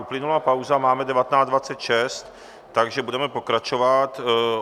Uplynula pauza, máme 19.26, takže budeme pokračovat.